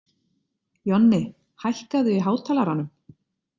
Jonni, hækkaðu í hátalaranum.